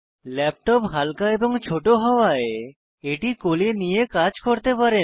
laptop হালকা এবং ছোট হওয়ায় ব্যবহারের এটি কোলে নিয়ে কাজ করতে পারেন